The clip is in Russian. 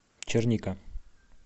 черника